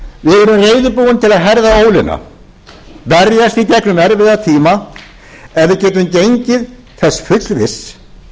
að herða ólina berjast í gegnum erfiða tíma ef við getum gengið þess fullviss